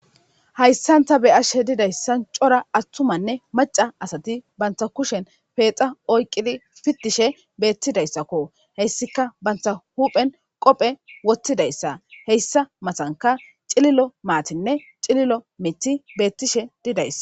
Hayssan ta beashe didayssan cora attumanne maca asati banta kushen peexa oyqidi fitishe beettidayssakko heyssika banta huphen qophe wottidayssa heyssa matanka cililo maatinne cililo miti bettishe didayssa.